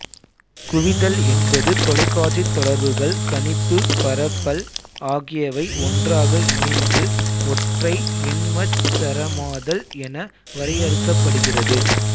குவிதல் என்பது தொலைத்தொடர்புகள் கணிப்பு பரப்பல் ஆகியவை ஒன்றாக இணைந்து ஒற்றை எண்மச் சரமாதல் என வரையறுக்கப்படுகிறது